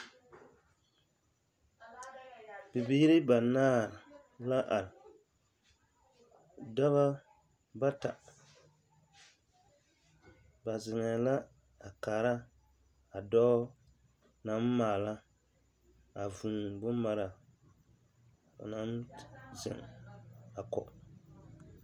Bibiiri banaare la are dɔba bata ba ziŋe la a kaara a dɔɔ naŋ maala a vūū bomaraa o naŋ ziŋ a kɔge .